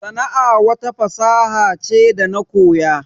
Sana'a wata fasaha ce da na koya